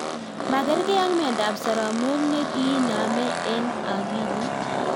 Makergei ak myondo ab saramok ne kiiname en akilit